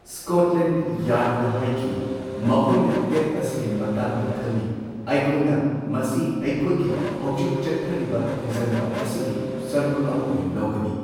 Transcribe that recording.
Scotland ꯌꯥꯔ꯭ꯗꯅ ꯍꯥꯢꯈꯤ꯫ ꯃꯈꯣꯏꯅ ꯇꯦꯞ ꯑꯁꯤꯒꯤ ꯃꯇꯥꯡꯗ ꯈꯪꯉꯤ ꯑꯩꯈꯣꯢꯅ ꯃꯁꯤ ꯑꯩꯈꯣꯢꯒꯤ ꯍꯧꯖꯤꯛ ꯆꯠꯊꯔꯤꯕ ꯊꯤꯖꯤꯟꯕ ꯑꯁꯤꯒꯤ ꯁꯔꯨꯛ ꯑꯃ ꯑꯣꯏꯅ ꯂꯧꯒꯅꯤ꯫